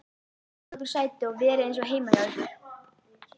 Fáið ykkur sæti og verið eins og heima hjá ykkur!